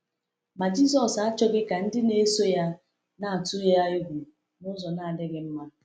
Ma Jisọs achọghị ka ndị na-eso ya na-atụ ya egwu n’ụzọ na-adịghị mma.